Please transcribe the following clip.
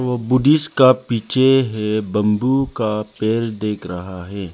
और बुद्धिस्ट का पीछे है बंबू का पेड़ देख रहा है।